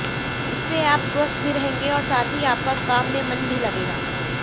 इससे आप स्वस्थ भी रहेंगे और साथ ही आपका काम में मन भी लगेगा